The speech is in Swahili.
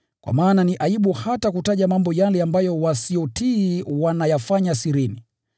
Kwa maana ni aibu hata kutaja mambo yale ambayo wasiotii wanayafanya sirini.